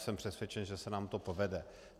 Jsem přesvědčen, že se nám to povede.